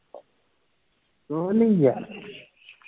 ਕੁਝ ਨਹੀਂ ਯਾਰ